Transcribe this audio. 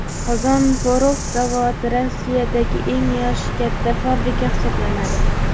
Qozon porox zavodi Rossiyadagi eng yoshi katta fabrika hisoblanadi.